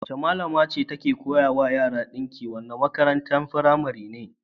Wace malama ce take koya wa yara ɗinki a wannan makarantar firamaren?